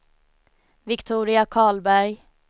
Viktoria Karlberg